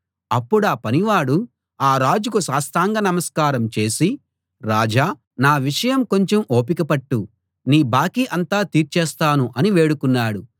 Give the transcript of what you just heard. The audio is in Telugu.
అప్పుడా పనివాడు ఆ రాజుకు సాష్టాంగ నమస్కారం చేసి రాజా నా విషయం కొంచెం ఓపిక పట్టు నీ బాకీ అంతా తీర్చేస్తాను అని వేడుకున్నాడు